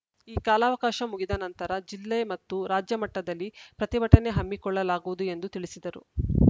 ಈ ಕಾಲಾವಕಾಶ ಮುಗಿದ ನಂತರ ಜಿಲ್ಲೆ ಮತ್ತು ರಾಜ್ಯಮಟ್ಟದಲ್ಲಿ ಪ್ರತಿಭಟನೆ ಹಮ್ಮಿಕೊಳ್ಳಲಾಗುವುದು ಎಂದು ತಿಳಿಸಿದರು